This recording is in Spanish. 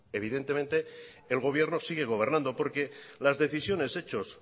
evidentemente el gobierno sigue gobernando porque las decisiones hechos